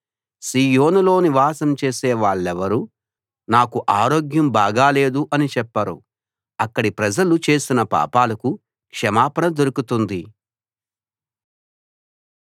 సీయోనులో నివాసం చేసే వాళ్ళెవ్వరూ నాకు ఆరోగ్యం బాగా లేదు అని చెప్పరు అక్కడి ప్రజలు చేసిన పాపాలకు క్షమాపణ దొరుకుతుంది